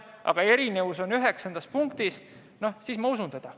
Erinevus seisneb teie eelnõu üheksandas punktis pakutud jõustumise ajas.